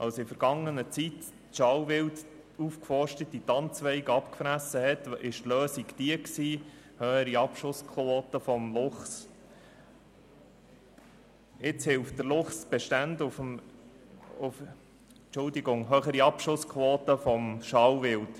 Als in vergangener Zeit das Schalenwild die aufgeforsteten Tannenzweige abgefressen hatte, war die Lösung jene höherer Abschussquoten für Schalenwild.